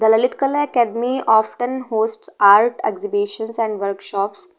The lalit kala academy often host art exhibition and workshops.